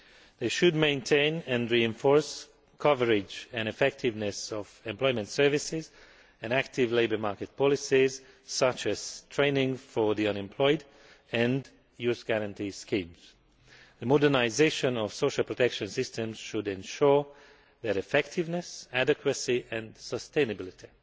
They should maintain and reinforce coverage and effectiveness of employment services and active labour market policies, such as training for the unemployed and youth guarantee schemes. The modernisation of social protection systems should ensure their effectiveness, adequacy and sustainability.